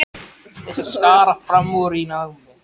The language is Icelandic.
Þeir sem skara fram úr í námi.